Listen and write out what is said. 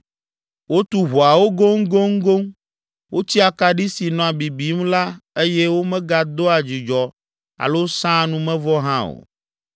Wotu ʋɔawo goŋgoŋgoŋ, wotsi akaɖi si nɔa bibim la eye womegadoa dzudzɔ alo sãa numevɔ hã o